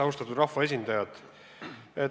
Austatud rahvaesindajad!